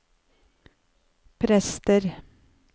prester